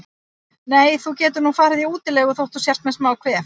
Nei, þú getur nú farið í útilegu þótt þú sért með smá kvef.